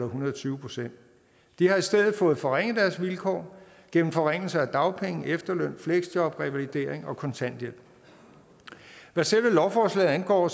hundrede og tyve procent de har i stedet fået forringet deres vilkår gennem forringelser af dagpenge efterløn fleksjob revalidering og kontanthjælp hvad selve lovforslaget angår